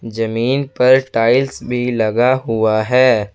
जमीन पर टाइल्स भी लगा हुआ है।